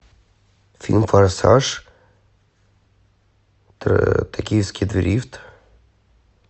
фильм форсаж токийский дрифт